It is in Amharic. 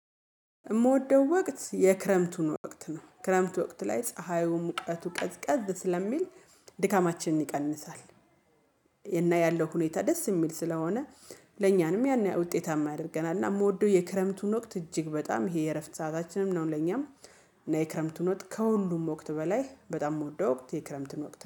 የምወደው ወቅት የክረምቱን ወቅት ነው ክረምት ወቅት ላይ ፀሀዩን ሙቀቱ ቀዝቀዝ ስለሚል ድካማችንን ይቀንሳል። እና ያለው ሁኔታ ደስ የሚል ስለሆነ ለእኛንም ያን ያህል ውጤታማ ያደርገናል። እና የምወደው የክረምቱን ወቅት እጅግ በጣም ይሄ የእረፍት ሰአታችንም ነው። ለኛም እና የክረምቱን ወቅት ከሁሉም ወቅት በላይ በጣም የምወደው ወቅት የክረምትን ወቅት